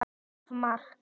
Of margt.